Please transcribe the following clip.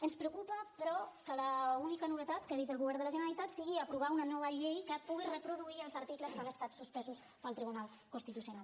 ens preocupa però que l’única novetat que ha dit el govern de la generalitat sigui aprovar una nova llei que pugui reproduir els articles que han estat suspesos pel tribunal constitucional